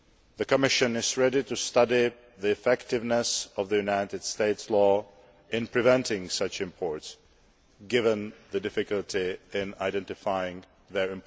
The Commission is ready to study the effectiveness of the United States law in preventing such imports, given the difficulty in identifying them.